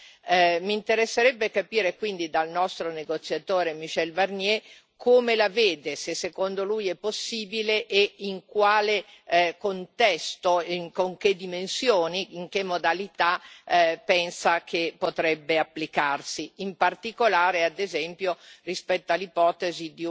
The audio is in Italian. Mi interesserebbe capire quindi dal nostro negoziatore Michel Barnier come la vede, se secondo lui è possibile e in quale contesto, con che dimensioni, in che modalità pensa che potrebbe applicarsi, in particolare ad esempio rispetto all'ipotesi di una